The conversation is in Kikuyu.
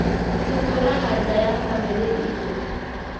Tũtũũraga nja ya famĩlĩ itũ.